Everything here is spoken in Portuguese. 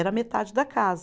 Era metade da casa.